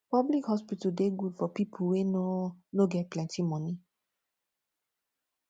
public hospital dey good for people wey no no get plenty monie